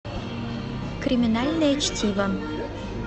криминальное чтиво